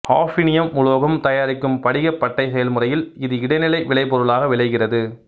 hafnium உலோகம் தயாரிக்கும் படிகப் பட்டை செயல்முறையில் இது இடைநிலை விளைபொருளாக விளைகிறது